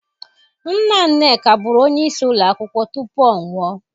Nna Nneka bụrụ onyeisi ụlọ akwụkwọ tupu ọ nwụọ